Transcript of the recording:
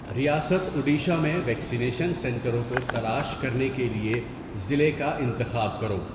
ریاست اڈیشہ میں ویکسینیشن سنٹروں کو تلاش کرنے کے لیے ضلع کا انتخاب کرو